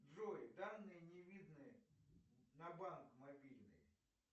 джой данные не видны на банк мобильный